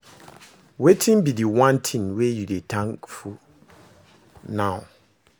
Wetin be di one thing wey you dey thankful now?